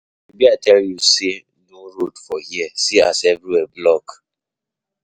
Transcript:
Shebi I tell you say no road for here, see as everywhere block.